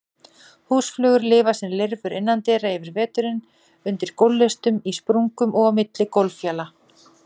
Húsflugur lifa sem lirfur innandyra yfir veturinn, undir gólflistum, í sprungum og á milli gólffjala.